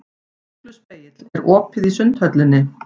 Ugluspegill, er opið í Sundhöllinni?